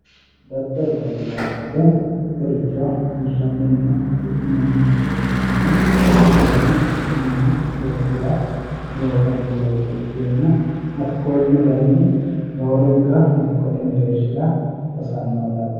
daddaloho yinay woyte mittoricho hirranninna hidhinanni yayyo ikkitanna tinino mannu e"osira loosanno looso ikkenna hakkonne kaynni roorenka dikkote mereershira hosannoho yaate.